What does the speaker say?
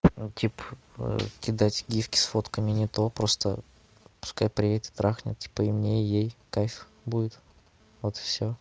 ну типо кидать гифки с фотками не то просто пускай приедет и трахнит типо и мне ей кайф будет вот и все